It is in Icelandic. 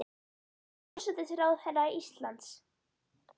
Hún er forsætisráðherra Íslands.